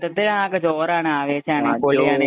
മൊത്തത്തില്‍ ആകെ ജോറാണ്, ആവേശാണ്, പൊളിയാണ്